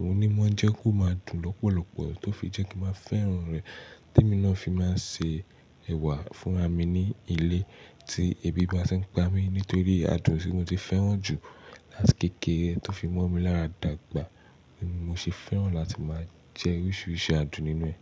òun ni wọ́n jẹ́ kó máa dùn lọ́pọ̀lọpọ̀, tó fi jẹ́ kí mo fẹ́ràn rẹ̀. Tẹ́mi náà fi máa ń ṣe ẹ̀wà fún ra mí ni ilé tí ebi máa ń ṣe ń pa mí, nítorí àádùn tí mo ti fẹ́ràn jù láti kékeré tó fi mo mi lára dàgbà. Mo sì fẹ́ràn láti máa jẹ oríṣìíríṣìí àádùn ninú ẹ̀